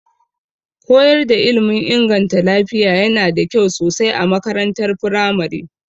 Koyar da ilmin inganta lafiya yana da kyau sosai a makarantar firamare.